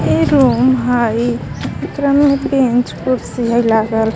इ रूम हइ एकरा में ह बेंच कुर्सी हइ लागल.